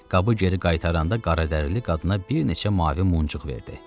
Qabı geri qaytaranda qaradərili qadına bir neçə mavi muncuq verdi.